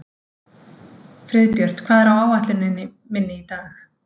Friðbjört, hvað er á áætluninni minni í dag?